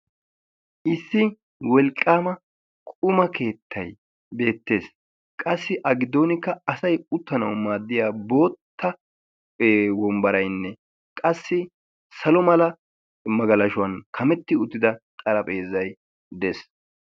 Issi wolqqaama quma keettay beettees. qassi agiddonkka asay uttanawu maaddiya bootta wombbaraynne qassi salo mala magalashuwan kametti uttida xarapheezzay dees.